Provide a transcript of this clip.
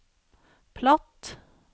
platt